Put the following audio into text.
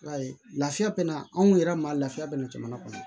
I b'a ye lafiya bɛ na anw yɛrɛ ma lafiya bɛna jamana kɔnɔ